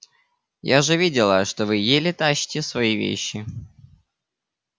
я же видела что вы еле тащите свои вещи